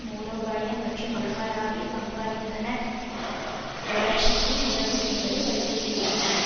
மூலோபாய மற்றும் உலகளாவிய பங்காளித்தன வளர்ச்சிக்கும் உதவும் என்பதை வலியுறுத்தியுள்ளன